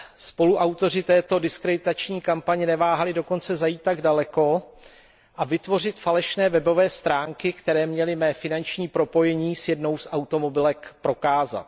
Spoluautoři této diskreditační kampaně neváhali dokonce zajít tak daleko a vytvořit falešné webové stránky, které měly mé finanční propojení s jednou z automobilek prokázat.